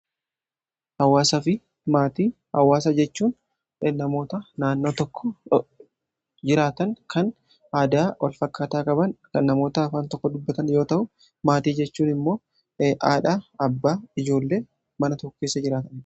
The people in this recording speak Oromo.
hawasa fi maatii. hawaasa jechuun namoota naannoo tokko jiraatan kan aadaa wal fakkaataa qaban kan namoota afaan tokko dubbatan yoo ta'u maatii jechuun immoo hadhaa, abbaa fi ijoollee mana tokkeessa jiraatan